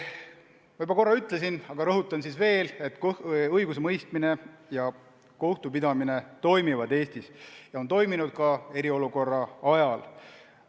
Ma juba korra ütlesin, aga rõhutan veel, et õigusemõistmine ja kohtupidamine toimisid Eestis ka eriolukorra ajal.